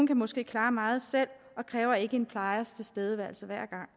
kan måske klare meget selv og kræver ikke en plejers tilstedeværelse hver gang